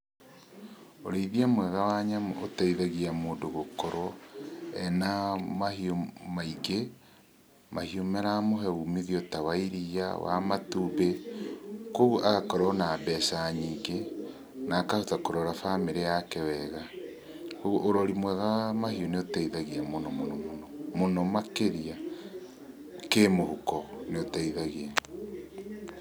Ũrĩithia mwega wa nyamũ, ũteithagia mũndũ gũkorwo, ena mahiũ maingĩ, mahiũ maramũhe umithio ta wa iria, wa matumbĩ, kuoguo agakorwo na mbeca nyingĩ, na akahota kũrora famĩrĩ yake wega. Ũrori mwega wa mahiũ nĩũteithagia mũno mũno mũno, mũno makĩria kĩmũhuko, nĩũteithagia.